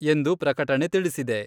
ಎಂದು ಪ್ರಕಟಣೆ ತಿಳಿಸಿದೆ.